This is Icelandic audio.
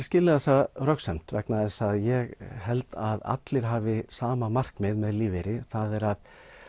skilið þessa röksemd vegna þess að ég held að allir hafi sama markmið með lífeyri það er að